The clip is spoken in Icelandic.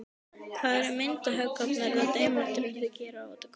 Hvað eru myndhöggvarinn og demókratinn að gera úti á gólfi.